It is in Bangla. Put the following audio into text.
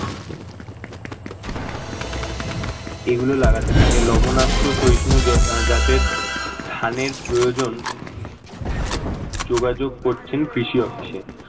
এগুলো লাগাতে থাকে লবণাক্ত শহিষ্ণু জাতের ধানের প্রয়োজন যোগাযোগ করছেন কৃষি অফিসে